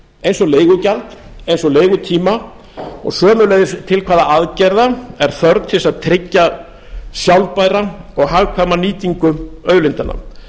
eins og leigugjald eins og leigutíma og sömuleiðis hvaða aðgerða er þörf til þess að tryggja sjálfbæra og hagkvæma nýtingu auðlindanna